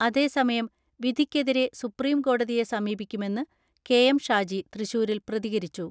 അതേസമയം, വിധിക്കെതിരെ സുപ്രീംകോടതിയെ സമീപി ക്കുമെന്ന് കെ.എം ഷാജി തൃശൂരിൽ പ്രതികരിച്ചു.